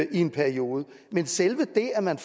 i en periode men selve det at man